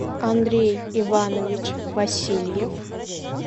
андрей иванович васильев